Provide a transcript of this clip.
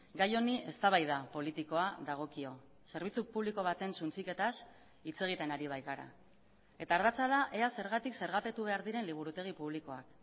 gai honi eztabaida politikoa dagokio zerbitzu publiko baten suntsiketaz hitz egiten ari baikara eta ardatza da ea zergatik zergapetu behar diren liburutegi publikoak